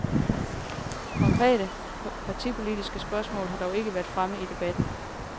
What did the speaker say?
Konkrete, partipolitiske spørgsmål har dog ikke været fremme i debatten.